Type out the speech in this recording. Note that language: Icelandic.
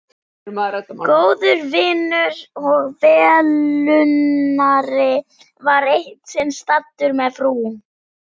Góður vinur og velunnari var eitt sinn staddur með frú